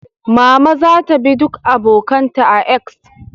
Mama za ta bi duk abokan ta a "X"